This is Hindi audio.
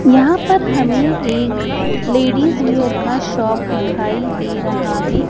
यहां पर हमें एक लेडिस वेयर का शॉप दिखाई दे रहा है।